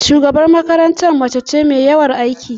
Shugabar makarantar mace ce mai yawan aiki.